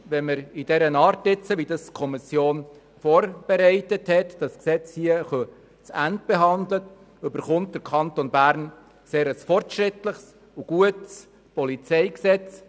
Wenn wir das nun in dieser Art, wie es die Kommission vorbereitet hat, hier zu Ende behandeln, bin ich überzeugt, dass der Kanton Bern ein sehr fortschrittliches und gutes PolG erhält.